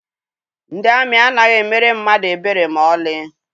Ndị amị anaghị emere mmadụ ebere maọlị.